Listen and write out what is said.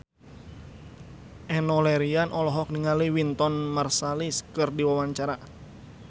Enno Lerian olohok ningali Wynton Marsalis keur diwawancara